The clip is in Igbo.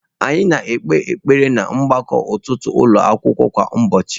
Anyị na-ekpe ekpere ná mgbakọ ụtụtụ ụlọ akwụkwọ kwa ụbọchị.